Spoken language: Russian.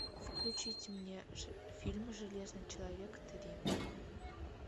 включите мне фильм железный человек три